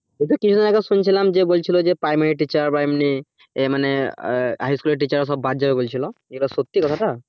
এইতো কিছুদিন আগে শুনছিলাম যে বলছিল যে primary teacher বা এমনি এই মানে high school এর teacher রা সব বাদ যাবে বলছিল সত্যি কথাটা